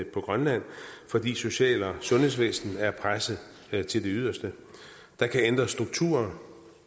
på grønland fordi social og sundhedsvæsenet er presset til det yderste der kan ændres strukturer